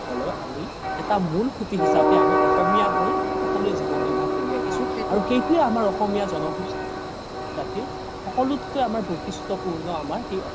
হ'লেও আমি এটা মোল সোতি হিচাপে আমি এটা অসমীয়া হৈ সকলোৱে জিৱন নিৰ্বাশ কৰি আহিছো আৰু সেইটোয়ে আমাৰ অসমীয়া জ্নজাতিৰ সকলোতকে আমাৰ বইখিস্ত্য পুৰ্ন আমাৰ সেই